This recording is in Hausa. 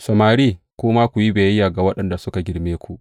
Samari, ku ma, ku yi biyayya ga waɗanda suka girme ku.